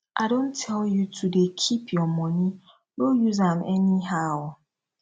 i don tell you to dey keep your money no use am anyhow